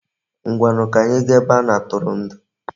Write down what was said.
Ngwanu, ka anyi gaa ebe a na-atụrụndụ.